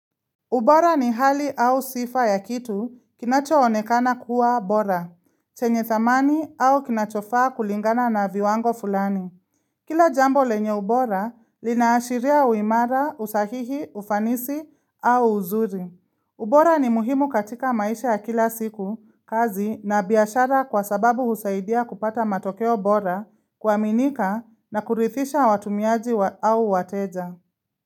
Ubora ni hali au sifa ya kitu kinacho onekana kuwa bora, chenye thamani au kinachofaa kulingana na viwango fulani. Kila jambo lenye ubora linaashiria uimara, usahihi, ufanisi au uzuri. Ubora ni muhimu katika maisha ya kila siku, kazi na biyashara kwa sababu husaidia kupata matokeo bora kwa minika na kurithisha watumiaji au wateja.